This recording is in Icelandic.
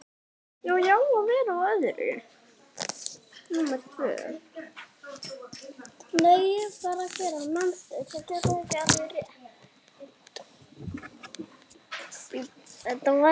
Frábært afrek hjá henni.